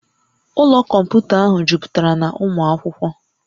Ụlọ kọmputa ahụ jupụtara na ụmụ akwụkwọ